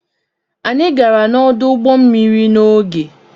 Anyị gara n'ọdụ ụgbọ mmiri n'oge.